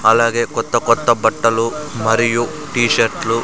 అలాగే కొత్త కొత్త బట్టలు మరియు టీ షర్ట్లు-- .